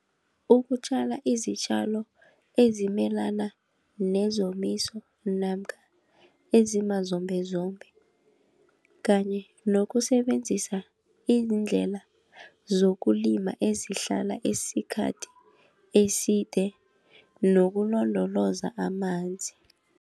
Ukutjala izitjalo ezimelana nezomiso namkha ezimazombezombe kanye nokusebenzisa iindlela zokulima ezihlala isikhathi eside nokulondoloza amanzi.